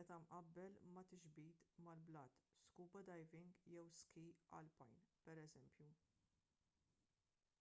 meta mqabbel ma’ tixbit mal-blat scuba diving jew ski alpin pereżempju